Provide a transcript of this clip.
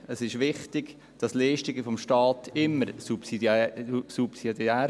Es ist wichtig, dass Leistungen des Staates immer subsidiär sind.